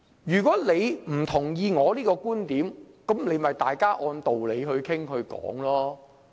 如果議員不同意對方的觀點，大家可以按道理討論。